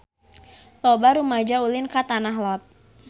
Loba rumaja ulin ka Tanah Lot